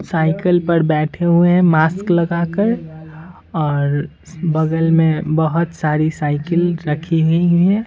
Cycle पर बैठे हुए हैं मास्क लगाकर और बगल में बहुत सारी साइकिल रखी हुई हुई है।